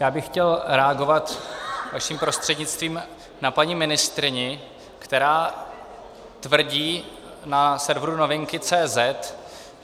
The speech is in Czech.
Já bych chtěl reagovat vaším prostřednictvím na paní ministryni, která tvrdí na serveru Novinky.cz